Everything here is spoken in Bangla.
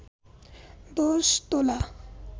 ১০ তোলা